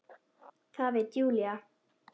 Það veit Júlía.